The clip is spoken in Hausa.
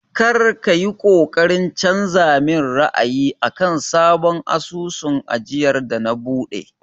Kar ka yi ƙoƙarin canza min ra'ayi akan sabon asusun ajiyar da na buɗe!